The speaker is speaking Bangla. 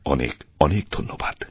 অনেক অনেকধন্যবাদ